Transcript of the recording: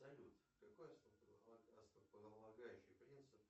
салют какой основополагающий принцип